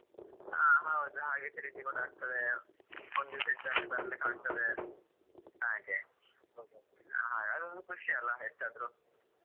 ಹಾ ಹೌದು ಹಾಗೆ ತಿರುಗಿ ಕೂಡ ಆಗ್ತದೆ ಒಂದು ದಿವಸ ಇದ್ದು ಅಲ್ಲಿ ಬರ್ಲಿಕ್ಕೆ ಆಗ್ತದೆ ಹಾಗೆ ಅದು ಒಂದು ಖುಷಿ ಅಲ್ಲ ಎಷ್ಟೇ ಆದ್ರು ಬಂದು ಮಾತಾಡ್ಲಿಕ್ಕೆ ಆಗ್ತದೆ ಆವಾಗ ಒಮ್ಮೆ ಮಾತಾಡಿದವರು ನೇರ ನೇರ ಬೇಟಿಯಾದಾಗೆಲ್ಲ ಆಗ್ತದಲ್ವಾ.